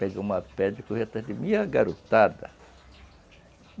Peguei uma pedra e correu atrás de mim garotada